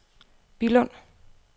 Billund